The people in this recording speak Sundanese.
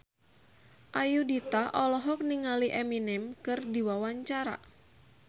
Ayudhita olohok ningali Eminem keur diwawancara